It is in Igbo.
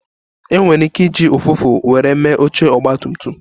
E nwere ike iji ụfụfụ were mee oche Ọgba tum tum